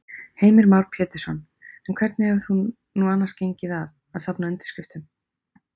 Heimir Már Pétursson: En hvernig hefur nú annars gengið að, að safna undirskriftum?